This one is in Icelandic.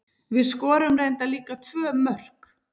Við skorum reyndar líka tvö mörk.